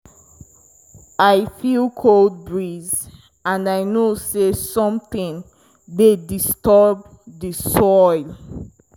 i feel cold breeze and i know say something dey disturb di soil.